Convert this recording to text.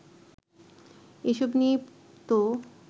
এসব নিয়েই তো